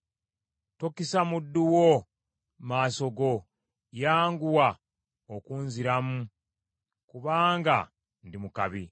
Tokisa muddu wo maaso go; yanguwa okunziramu, kubanga ndi mu kabi.